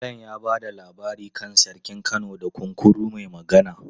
Malam ya ba da labari kan Sarkin Kano da Kunkuru mai Magana.